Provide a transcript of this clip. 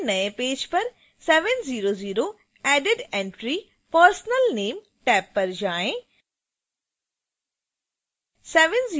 खुले हुए नए पेज पर 700 added entrypersonal name टैब पर जाएँ